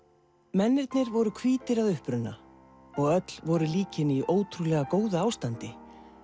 mennirnir voru hvítir að uppruna og öll voru líkin í ótrúlega góðu ástandi